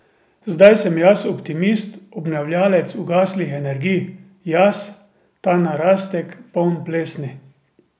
Zdaj sem jaz optimist, obnavljavec ugaslih energij, jaz, ta narastek, poln plesni.